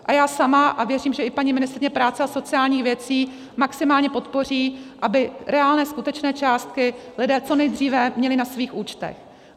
A já sama, a věřím, že i paní ministryně práce a sociálních věcí maximálně podpoří, aby reálné, skutečné částky lidé co nejdříve měli na svých účtech.